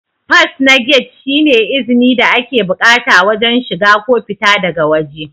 fas na gate shi ne izni da ake bukata wajen shiga ko fita daga wajē